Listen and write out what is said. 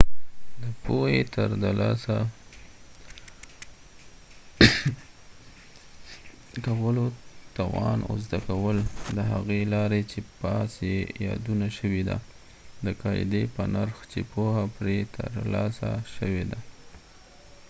د پوهی د ترلاسه کولو توان او زده کول د هغې لارې چې پاس یې یادونه شوي ده د قاعدي په نرخ چې پوهه پری ترلاسه شوي ده